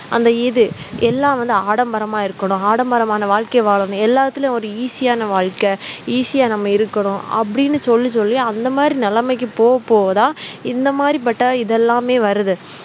அந்த இது எல்லாம் வந்து ஆடம்பரமா இருக்கணும் ஆடம்பரமான வாழ்க்கை வாழணும் எல்லாத்துலயும் ஒரு easy ஆன வாழ்க்கை easy யா நம்ம இருக்கணும் அப்படின்னு சொல்லி சொல்லி அந்த மாதிரி நிலைமைக்கு போக போகதான் இந்த மாதிரி பட்ட இதெல்லாமே வருது